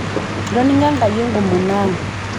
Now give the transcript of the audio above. etoning'o Enkai enkomono ang'